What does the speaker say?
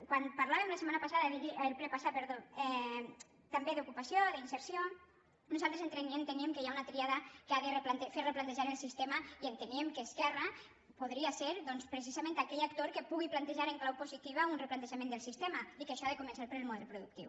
quan parlàvem el ple passat també d’ocupació d’inserció nosaltres enteníem que hi ha una tríada que ha de fer replantejar el sistema i enteníem que esquerra podria ser doncs precisament aquell actor que pugui plantejar en clau positiva un replantejament del sistema i que això ha de començar pel model productiu